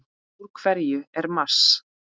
Úr hverju er Mars?